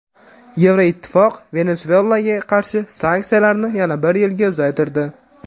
Yevroittifoq Venesuelaga qarshi sanksiyalarni yana bir yilga uzaytirdi.